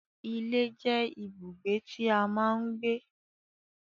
Ilé jẹ́ ibùgbé tí a máa ń gbé